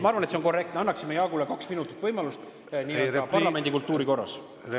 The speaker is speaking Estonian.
Ma arvan, et see on korrektne, kui me anname Jaagule võimaluse kaks minutit nii-öelda parlamendi kultuuri.